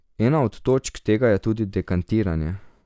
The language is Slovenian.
Ena od točk tega je tudi dekantiranje.